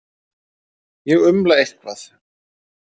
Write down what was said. Ég umla eitthvað.